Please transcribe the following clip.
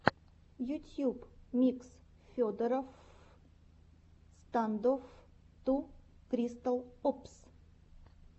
ютьюб микс федороффф стандофф ту критикал опс